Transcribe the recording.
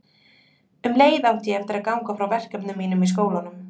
Um leið átti ég eftir að ganga frá verkefnum mínum í skólanum.